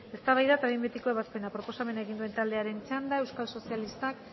eztabaida eta behin betiko ebazpena proposamena egin duen taldearen txanda euskal sozialistak